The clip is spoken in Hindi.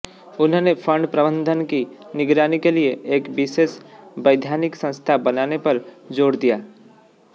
उन्होंने फंड प्रबंधन की निगरानी के लिए एक विशेष वैधानिक संस्था बनाने पर ज़ोर दिया